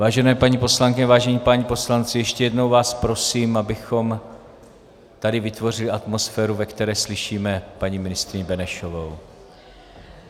Vážené paní poslankyně, vážení páni poslanci, ještě jednou vás prosím, abychom tady vytvořili atmosféru, ve které slyšíme paní ministryni Benešovou.